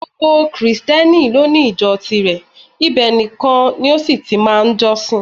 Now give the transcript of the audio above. Gbogbo Krìsìtẹ́nì lóní ìjọ tirẹ̀, ibẹ̀ nìkan ni ó sì ti máa ń jọ́sìn